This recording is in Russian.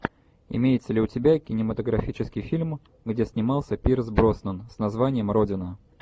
имеется ли у тебя кинематографический фильм где снимался пирс броснан с названием родина